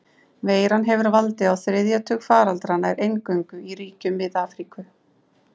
Veiran hefur valdið á þriðja tug faraldra, nær eingöngu í ríkjum Mið-Afríku.